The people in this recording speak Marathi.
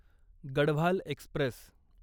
गढवाल एक्स्प्रेस